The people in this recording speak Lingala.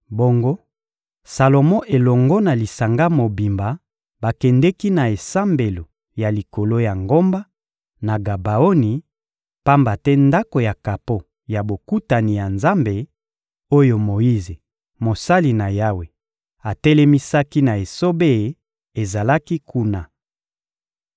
Bongo, Salomo elongo na lisanga mobimba bakendeki na esambelo ya likolo ya ngomba, na Gabaoni, pamba te Ndako ya kapo ya Bokutani ya Nzambe, oyo Moyize, mosali na Yawe, atelemisaki na esobe ezalaki kuna.